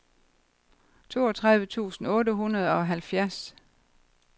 toogtredive tusind otte hundrede og halvfjerds